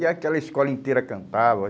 E aquela escola inteira cantava.